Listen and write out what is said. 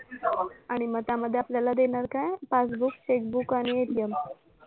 आणि मग त्यामध्ये आपल्याला देणार काय passbook, check book आणि ATM